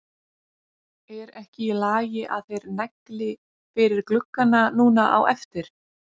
Er ekki í lagi að þeir negli fyrir gluggana núna á eftir?